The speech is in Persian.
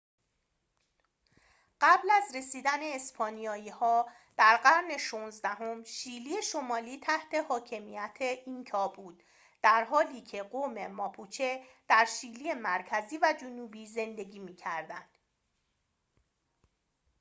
قبل از رسیدن اسپانیایی‌ها در قرن ۱۶ام شیلی شمالی تحت حاکمیت اینکا بود درحالیکه قوم ماپوچه در شیلی مرکزی و جنوبی زندگی می‌کردند